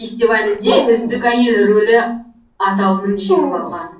фестивалінде үздік әйел рөлі аталымын жеңіп алған